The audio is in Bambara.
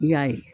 I y'a ye